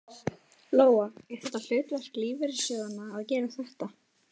Lóa: Er þetta hlutverk lífeyrissjóðanna að gera þetta?